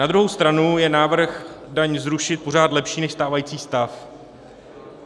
Na druhou stranu je návrh daň zrušit pořád lepší než stávající stav.